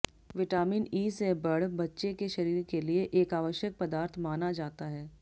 vitamin E से बढ़ बच्चे के शरीर के लिए एक आवश्यक पदार्थ माना जाता है